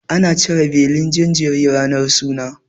Ana cire belin jinjiri ranar suna.